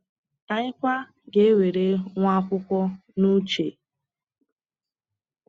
Anyị kwa ga-ewere nwaakwụkwọ n’uche.